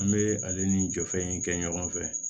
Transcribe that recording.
An bɛ ale ni jɔfɛn in kɛ ɲɔgɔn fɛ